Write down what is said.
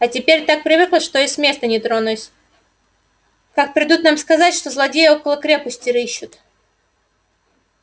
а теперь так привыкла что и с места не тронусь как придут нам сказать что злодеи около крепости рыщут